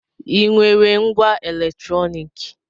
Ị nwere ngwá eletrọnịkị?